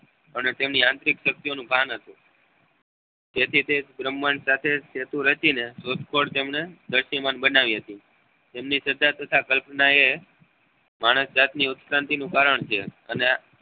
અને તેની આંશિક શક્તિઓ નું ભાન હતું તેથી તે ભ્રમાંડ સાથે સહેતુ રેતી ને શોધખોળ તેમને બનાવી હતી તેમની શ્રધા તથા કલ્પના એ માણસ જાત ની ઉત્ક્રાંતિ નું કારણ છે અને આ